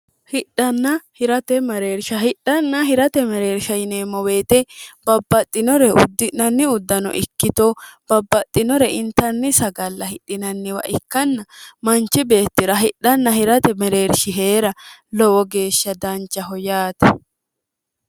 hidhanna hirate mareersha hidhanna hirate mereersha yineemmo weete babbaxxinore uddi'nanni uddano ikkito babbaxxinore intanni sagalla hidhinanniwa ikkanna manchi beetti'ra hidhanna hirate mereershi hee'ra lowo geeshsha danchaho yaate